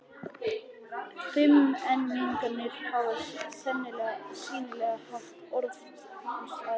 Fimmmenningarnir hafa sýnilega haft orð hans að engu.